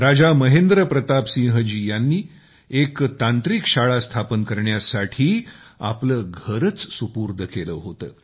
राजा महेंद्र प्रताप सिंह जीयांनी एका टेक्निकल शाळा स्थापन करण्यासाठी आपले घरच सुपूर्द केले होते